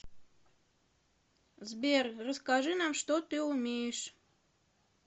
сбер расскажи нам что ты умеешь